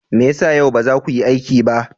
Me ya sa yau ba za ku yi aiki ba?